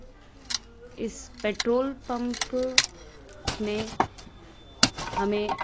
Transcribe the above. इस petrol pump मे हमे--